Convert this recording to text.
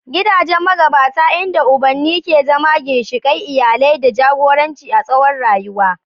Gidajen magabata, inda ubanni ke zama ginshiƙan iyali da jagoranci a tsawon rayuwa.